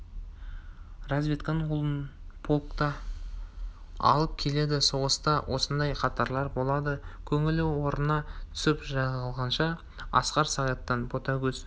разведка оны полкқа алып келеді соғыста осындай қаталар болады көңілі орнына түсіп жайланғанша асқар сағиттан ботагөз